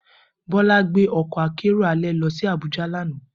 Bola gbe ọkọ akero alẹ lọ si Abuja lana.